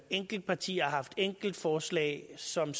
enkeltpartier har haft enkeltforslag som